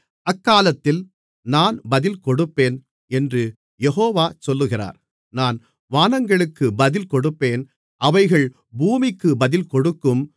அக்காலத்தில் நான் பதில் கொடுப்பேன் என்று யெகோவா சொல்லுகிறார் நான் வானங்களுக்கு பதில் கொடுப்பேன் அவைகள் பூமிக்கு பதில் கொடுக்கும்